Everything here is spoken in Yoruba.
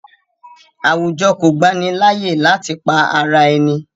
Àwùjọ kọ̀ gbani layé láti pa ara ẹ̀ni